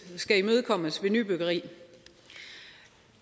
skal imødekommes ved nybyggeri